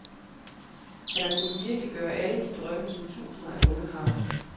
Han har kunnet virkeliggøre alle de drømme, som tusinder af unge har.